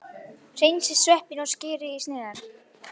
Hreinsið sveppina og skerið í sneiðar.